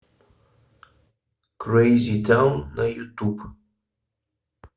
крэйзи таун на ютуб